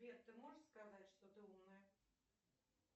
сбер ты можешь сказать что ты умная